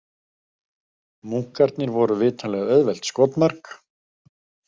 Munkarnir voru vitanlega auðvelt skotmark.